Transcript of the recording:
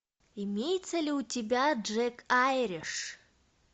имеется ли у тебя джек айриш